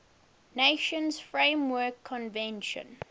nations framework convention